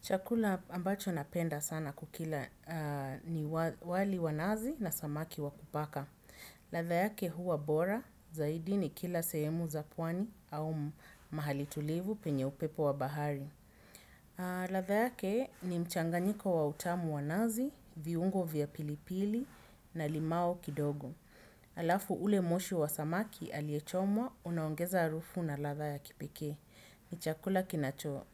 Chakula ambacho napenda sana kukila ni wali wa nazi na samaki wa kupaka. Latha yake huwa bora, zaidi ni kila sehemu za pwani au mahali tulivu penye upepo wa bahari. Latha yake ni mchanganyiko wa utamu wa nazi, viungo vya pilipili na limau kidogo. Alafu ule moshi wa samaki aliye chomwa, unaongeza harufu na latha ya kipekee. Ni chakula kinacho